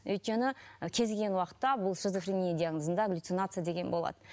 өйткені кез келген уақытта бұл шизофрения диагнозында галюцинация деген болады